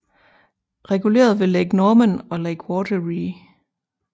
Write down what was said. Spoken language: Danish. Reguleret ved Lake Norman og Lake Wateree